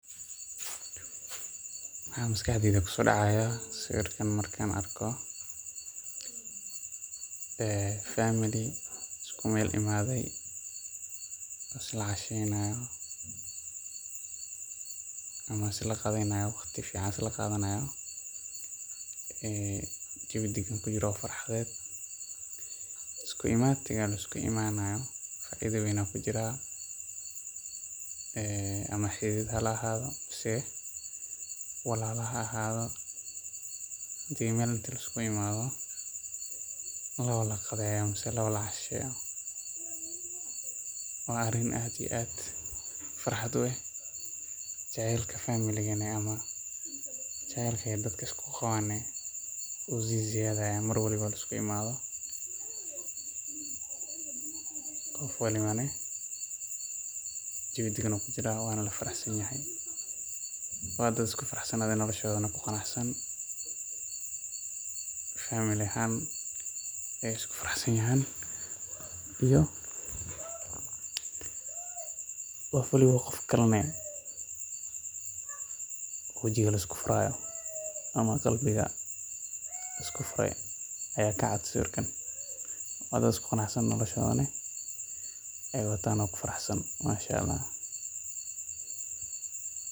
Waxaa maskaxdeyda kusoo dacaaya, famili isku meel imaade, isla cashenayo, waqti fican isla qaadanayo, faida weyn ayaa kujiraa, inti meel laikugu imaado, lawada qadeeyo, waa arin farxad ah, jaceylka sii siyaado, qof walbo jawi dagan kujiraa, nolosha ku ganacsan, isku faraxsan, qof walbo qofka kale qalbiga lisku furaayo.